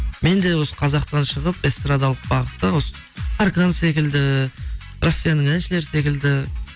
мен де осы қазақтан шығып эстрадалық бағытта осы таркан секілді россияның әншілері секілді